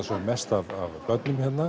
mest af börnum hérna